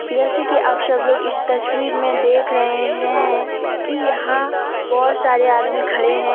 जैसे कि आप सब लोग इस तस्वीर में देख रहे हैं कि यहां बहुत सारे आदमी खड़े हैं।